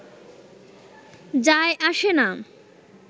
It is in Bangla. যায় আসে না